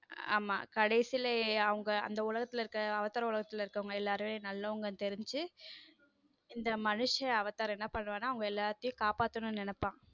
ஆமா கடைசில அவங்க அந்த உலகத்துல இருக்க அவதார் உலகத்துல இருக்கிறவங்க எல்லாரும் நல்லவங்கன்னு தெரிஞ்சு இந்த மனுஷன் அவதார் என்ன பண்ணுவான்னா அவங்க எல்லாத்தையும் காப்பாத்த நினைப்பான்.